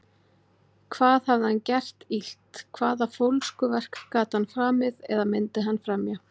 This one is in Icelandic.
Hvað hafði hann gert illt- hvaða fólskuverk gat hann framið, eða myndi hann fremja?